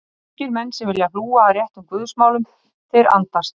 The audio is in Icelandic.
Ungir menn sem vilja hlúa að réttum Guðs málum, þeir andast.